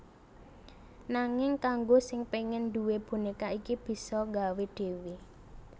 Nanging kanggo sing pengen duwé boneka iki bisa nggawe dhéwé